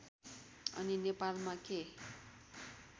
अनि नेपालमा के